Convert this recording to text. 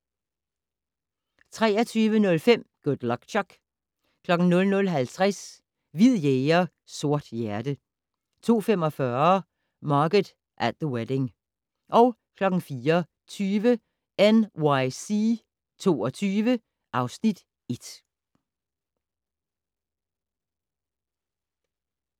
23:05: Good Luck Chuck 00:50: Hvid jæger, sort hjerte 02:45: Margot at the Wedding 04:20: NYC 22 (Afs. 1)